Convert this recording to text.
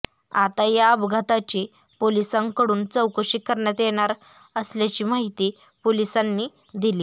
आता या अपघाताची पोलिसांकडून चौकशी करण्यात येणार असल्याची माहिती पोलिसांनी दिली